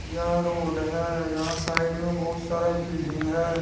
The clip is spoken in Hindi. यह रोड है यहां साइड में बहुत सारा बिल्डिंग है।